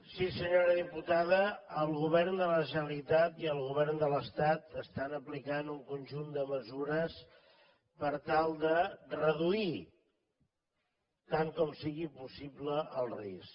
sí senyora diputada el govern de la generalitat i el govern de l’estat estan aplicant un conjunt de mesures per tal de reduir tant com sigui possible el risc